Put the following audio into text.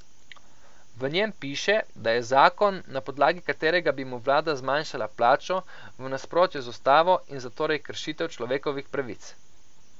V njem piše, da je zakon, na podlagi katerega bi mu vlada zmanjšala plačo, v nasprotju z ustavo in zatorej kršitev človekovih pravic.